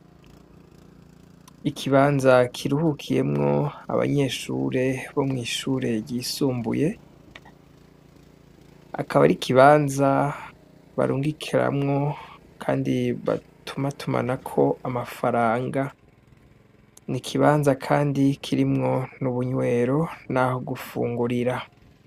Ikibanza kiruhukiyemwo abanyeshure bo mw'ishure ryisumbuye akaba ari ikibanza barungikeramwo kandi batumatumana ko amafaranga n'ikibanza kandi kirimwo n'ubunywero naho gufungurira.